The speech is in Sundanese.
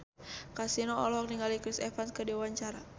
Kasino olohok ningali Chris Evans keur diwawancara